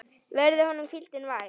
Verði honum hvíldin vær.